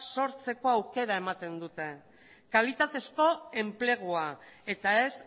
sortzeko aukera ematen dute kalitatezko enplegua eta ez